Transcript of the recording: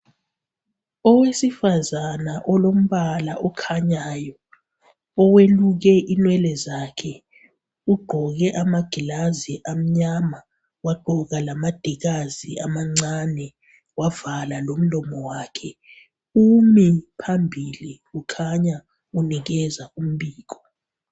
Owesifazana olombala okhanyayo. Oweluke inwele zakhe. Ugqoke amagilazi amnyama, Wagqoka lamadikazi amancane. Wavala lomlomo wakhe. Umi phambili. Kukhanya unikeza umbiko.